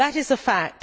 That is a fact.